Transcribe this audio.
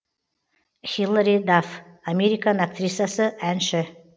хилари дафф американ актрисасы әнші